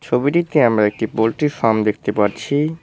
ছবিটিতে আমরা একটি পোল্ট্রি ফার্ম দেখতে পারছি।